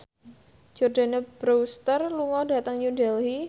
Jordana Brewster lunga dhateng New Delhi